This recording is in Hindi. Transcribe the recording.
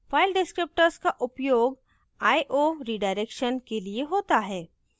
file descriptors का उपयोग i/o redirection के लिए होता है